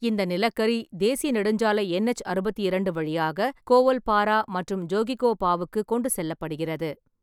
இந்த நிலக்கரி தேசிய நெடுஞ்சாலை என்எச் அறுபத்தி இரண்டு வழியாக கோவல்பாரா மற்றும் ஜோகிகோபாவுக்கு கொண்டு செல்லப்படுகிறது.